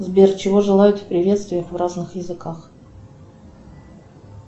сбер чего желают в приветствиях в разных языках